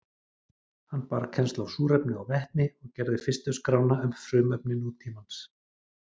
Hann bar kennsl á súrefni og vetni og gerði fyrstu skrána um frumefni nútímans.